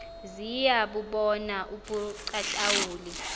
ziya bubona ubuqaqawuli